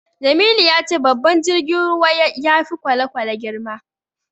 Jamilu ya ce babban jirgin ruwa ya fi kwale-kwale girma.